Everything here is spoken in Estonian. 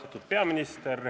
Austatud peaminister!